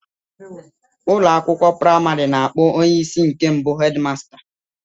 Ụlọ akwụkwọ praịmarị na-akpọ onye isi nke nwoke bụ 'headmaster'